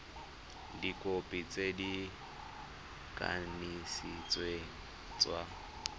dikhopi tse di kanisitsweng tsa